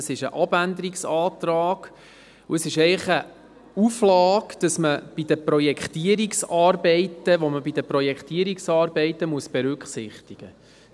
Es ist ein Abänderungsantrag, und eigentlich ist es eine Auflage, die man bei den Projektierungsarbeiten berücksichtigen muss.